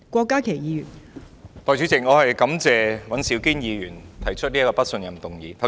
代理主席，我感謝尹兆堅議員提出這項不信任行政長官的議案。